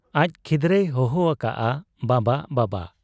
ᱟᱡ ᱠᱷᱤᱫᱽᱨᱟᱹᱭ ᱦᱚᱦᱚ ᱟᱠᱟᱜ ᱟ ᱵᱟᱵᱟ ! ᱵᱟᱵᱟ !